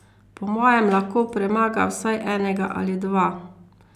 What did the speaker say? Po mojem lahko premaga vsaj enega ali dva.